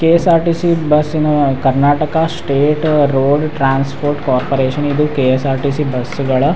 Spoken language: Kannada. K S R T C bus ನ Karnataka state road transport corporation ಇದು K S R T C bus ಗಳ --